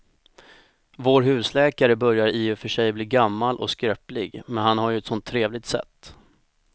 Vår husläkare börjar i och för sig bli gammal och skröplig, men han har ju ett sådant trevligt sätt!